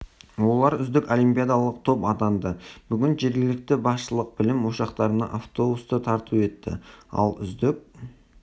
олар үздік олимпиадалық топ атанды бүгін жергілікті басшылық білім ошақтарына автобусты тарту етті ал үздік